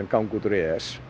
ganga út úr e e s